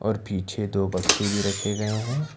और पीछे दो बक्से भी रखे गए हैं।